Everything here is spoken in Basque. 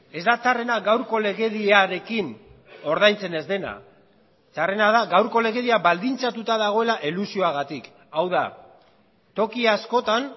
ez da txarrena gaurko legediarekin ordaintzen ez dena txarrena da gaurko legedia baldintzatuta dagoela elusioagatik hau da toki askotan